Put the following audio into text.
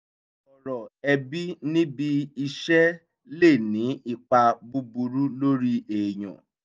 sọ̀rọ̀ ẹbí níbi iṣẹ́ lè ní ipa búburú lórí èèyàn